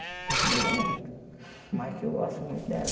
A gente briga muito, mas que eu gosto muito dela.